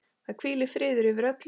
Það hvílir friður yfir öllu.